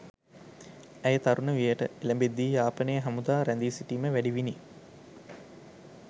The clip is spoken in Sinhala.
ඇය තරුණ වියට එළඹෙද්දී යාපනයේ හමුදා රැඳී සිටීම වැඩි විණි